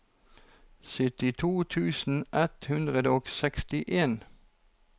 syttito tusen ett hundre og sekstien